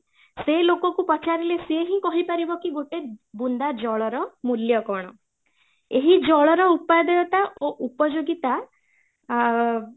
ସେ ଲୋକ କୁ ପଚାରିଲେ ସେ ହିଁ କହି ପାରିବ କି ଗୋଟେ ବୁନ୍ଦା ଜଳର ମୂଲ୍ୟ କ'ଣ ଏହି ଜଳର ଉପାଦେୟତା ଓ ଉପଯୋଗୀତା ଅ